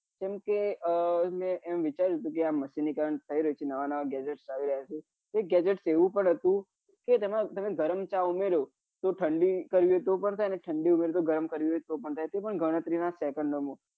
કેમ કે મેં આમ વિચાર્યું હતું કે આ machine થઇ રહી છે નવા નવા gadget આવી રહ્યા છે એક gadget એવું પણ હતું કે તેમાં તમે ગરમ ચા ઉમેર્યો તો ઠંડી કરવી હોય તો પણ થાય અને ઠંડી ઉમેરી હોય તો ગરમ કરવી હોય તો પણ થાય તે પણ ગણતરી નાં second ઓ માં.